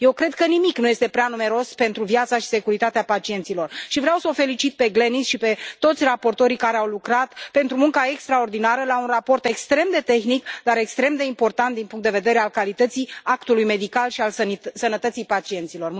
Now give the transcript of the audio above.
Eu cred că nimic nu este prea numeros pentru viața și securitatea pacienților și vreau să o felicit pe Glenis și pe toți raportorii care au lucrat pentru munca extraordinară la un raport extrem de tehnic, dar extrem de important din punctul de vedere al calității actului medical și al sănătății pacienților.